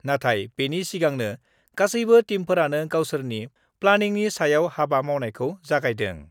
नाथाय बेनि सिगांनो गासैबो टीमफोरानो गावसोरनि प्लानिंनि सायाव हाबा मावनायखौ जागायदों।